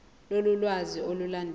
lolu lwazi olulandelayo